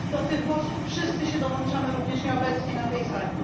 Do tych głosów wszyscy się dołączamy, również nieobecni na tej sali.